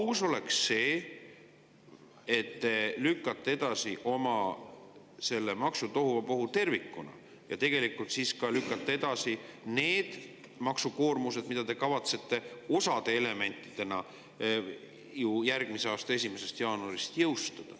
Aus oleks see, et kui te lükkate edasi oma selle maksutohuvabohu, siis tegelikult lükkate edasi ka selle maksukoormuse, mida te kavatsete ju järgmise aasta 1. jaanuarist jõustada.